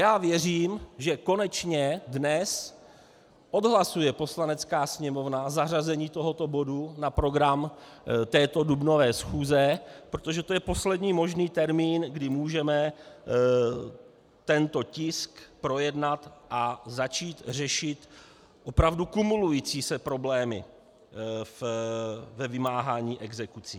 Já věřím, že konečně dnes odhlasuje Poslanecká sněmovna zařazení tohoto bodu na program této dubnové schůze, protože to je poslední možný termín, kdy můžeme tento tisk projednat a začít řešit opravdu kumulující se problémy ve vymáhání exekucí.